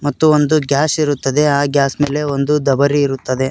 ಮತ್ತು ಒಂದು ಗ್ಯಾಸ್ ಇರುತ್ತದೆ ಆ ಗ್ಯಾಸ್ ಮೇಲೆ ಒಂದು ದಬರಿ ಇರುತ್ತದೆ.